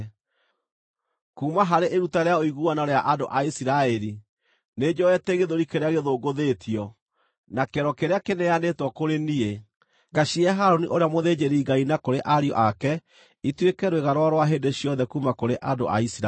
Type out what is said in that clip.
Kuuma harĩ iruta rĩa ũiguano rĩa andũ a Isiraeli, nĩnjoete gĩthũri kĩrĩa gĩthũngũthĩtio, na kĩero kĩrĩa kĩneanĩtwo kũrĩ niĩ, ngacihe Harũni ũrĩa mũthĩnjĩri-Ngai na kũrĩ ariũ ake ituĩke rwĩga rwao rwa hĩndĩ ciothe kuuma kũrĩ andũ a Isiraeli.’ ”